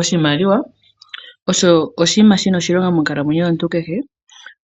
Oshimaliwa osho oshinima shina oshilongo monkalamwenyo yomuntu kehe